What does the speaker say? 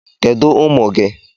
Kedu ụmụ gị?